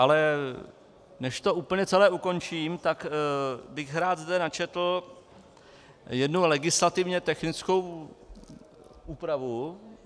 Ale než to úplně celé ukončím, tak bych zde rád načetl jednu legislativně technickou úpravu.